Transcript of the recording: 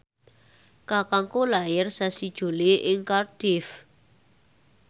kakangku lair sasi Juli ing Cardiff